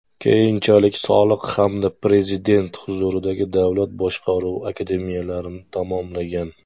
Keyinchalik Soliq hamda Prezident huzuridagi Davlat boshqaruvi akademiyalarini tamomlagan.